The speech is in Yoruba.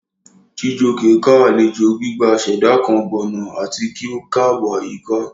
Chijioke ká alejo gbigba ṣẹda kan gbona ati ki o kaabo ayika.